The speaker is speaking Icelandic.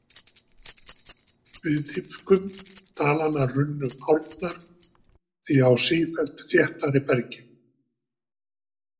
Við dýpkun dalanna runnu árnar því á sífellt þéttara bergi.